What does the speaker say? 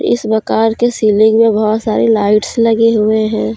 इस मकान के सीलिंग मे बहुत सारे लाइट्स लगे हुएं हैं।